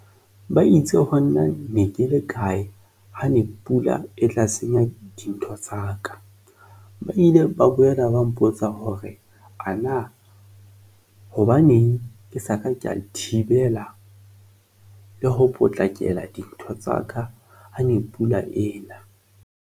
Ba itse ho nna ne ke le kae ha ne pula e tla senya dintho tsa ka, ba ile ba boela ba mpotsa hore ana hobaneng ke sa ka ka thibela le ho potlakela dintho tsaka ha ne pula ena.